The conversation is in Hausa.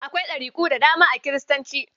Akwai ɗariku da dama a Kiristanci.